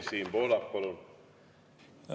Siim Pohlak, palun!